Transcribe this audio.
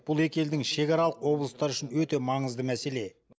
бұл екі елдің шекаралық облыстары үшін өте маңызды мәселе